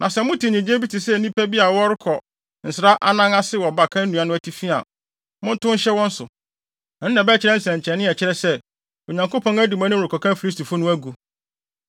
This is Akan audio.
Na sɛ mote nnyigye bi te sɛ nnipa bi a wɔrebɔ nsra anan ase wɔ baka nnua no atifi a, montow nhyɛ wɔn so. Ɛno na ɛbɛyɛ nsɛnkyerɛnne a ɛkyerɛ sɛ, Onyankopɔn adi mo anim rekɔka Filistifo no agu.”